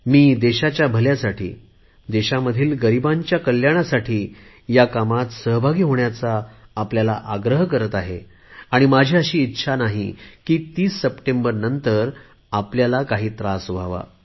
मी देशाच्या भल्यासाठी देशामधील गरिबांच्या कल्याणासाठी हया कामात सहभागी होण्याचा आग्रह करत आहे आणि माझी अशी इच्छा नाही की 30 सप्टेंबरनंतर आपल्याला काही त्रास व्हावा